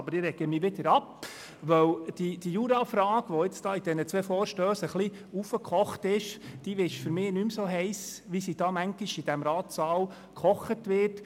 Aber ich rege mich wieder ab, denn die Jurafrage, die in diesen beiden Vorstössen hochgewallt ist, ist für mich nicht mehr so heiss, wie sie hier im Ratssaal manchmal gekocht wird.